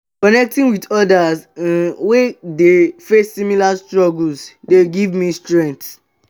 connecting with odas um wey dey face similar struggles dey give me strength.